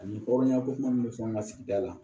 Ani hɔrɔnya ko kuma minnu bɛ fɛn ka sigida la